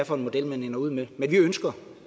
for en model man ender ud med men vi ønsker